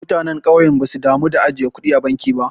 Mutanen kauye basu damu da ajiye kudi a banki ba.